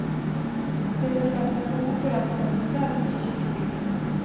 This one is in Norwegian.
Dette har skapt et behov for anskaffelse av en ny kirkebygning.